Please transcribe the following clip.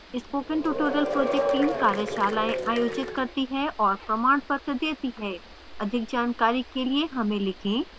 spoken tutorial project team कार्यशालाएं आयोजित करती है और प्रमाणपत्र देती है अधिक जानकारी के लिए हमें लिखें